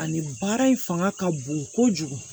Ani baara in fanga ka bon kojugu